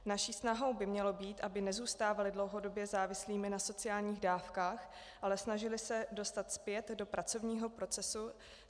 Naší snahou by mělo být, aby nezůstávali dlouhodobě závislými na sociálních dávkách, ale snažili se dostat zpět do pracovního procesu.